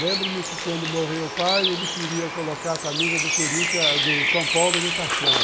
Lembro-me que quando morreu o pai, ele queria colocar a camisa do Corinthians, do São Paulo, no caixão.